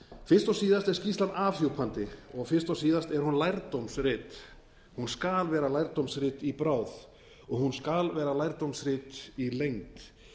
fyrst og síðast er skýrslan afhjúpandi og fyrst og síðast er hún lærdómsrit hún skal vera lærdómsrit í bráð og hún skal verða lærdómsrit í lengd